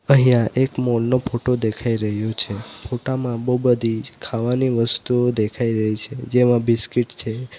અહીંયા એક મોલ નો ફોટો દેખાઈ રહ્યો છે ફોટા માં બહુ બધી ખાવાની વસ્તુઓ દેખાઈ રહી છે જેમાં બિસ્કીટ છે.